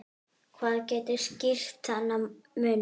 Hvað getur skýrt þennan mun?